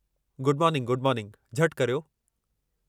Good morning good morning, झटि करियो।